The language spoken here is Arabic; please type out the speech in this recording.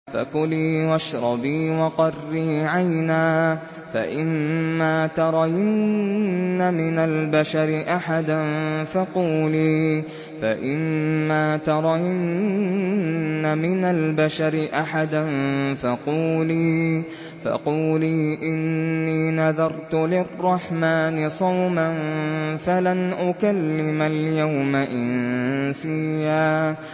فَكُلِي وَاشْرَبِي وَقَرِّي عَيْنًا ۖ فَإِمَّا تَرَيِنَّ مِنَ الْبَشَرِ أَحَدًا فَقُولِي إِنِّي نَذَرْتُ لِلرَّحْمَٰنِ صَوْمًا فَلَنْ أُكَلِّمَ الْيَوْمَ إِنسِيًّا